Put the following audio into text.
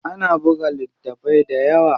Ana buga littafai dayawa.